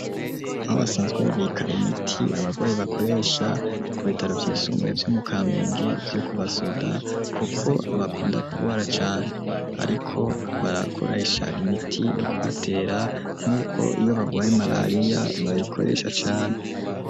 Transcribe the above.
Aho basanzwe, babika imiti, abagwayi bakoresha, ku bitaro vyisumbaye, vyo mu Kamenge, vyo ku basoda; kuko abakunda kugwara cane, ariko, barakoresha imiti, yo kubatera, nk'uko iyo bagwaye marariya, bayikoresha cane.